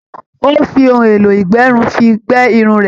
Ó fi ohun èlò ìgbẹrun fi gbẹ irun rẹ̀.